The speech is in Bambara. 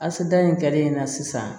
Asidiya in kɛlen na sisan